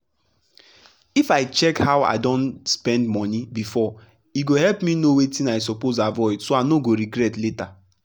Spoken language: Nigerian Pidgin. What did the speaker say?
if i check how i don spend money before e go help me know wetin i suppose avoid so i no go regret later.